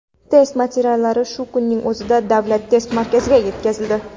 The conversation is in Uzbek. Test materiallari shu kunning o‘zida Davlat test markaziga yetkazildi”.